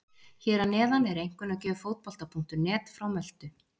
Hér að neðan er einkunnagjöf Fótbolta.net frá Möltu.